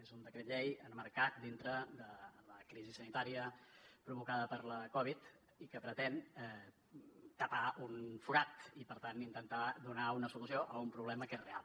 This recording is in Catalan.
és un decret llei emmarcat dintre de la crisi sanitària provocada per la covid i que pretén tapar un forat i per tant intentar donar una solució a un problema que és real